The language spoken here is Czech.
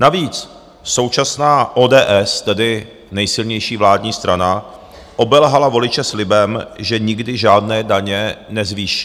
Navíc současná ODS, tedy nejsilnější vládní strana, obelhala voliče slibem, že nikdy žádné daně nezvýší.